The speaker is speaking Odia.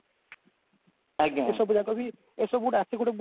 ଏ ସବୁଯାକ ବି ଏସବୁ ଗୁଡା ଆସେ ଗୋଟେ ବହୁତ